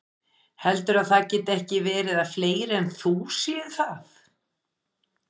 Heldurðu að það geti ekki verið að fleiri en þú séu það?